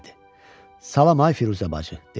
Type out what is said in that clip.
Salam ay Firuzə bacı, dedi.